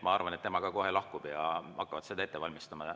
Ma arvan, et tema ka kohe lahkub ja nad hakkavad seda ette valmistama.